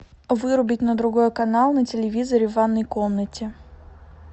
вырубить на другой канал на телевизоре в ванной комнате